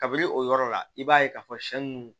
Kabini o yɔrɔ la i b'a ye k'a fɔ sɛn nunnu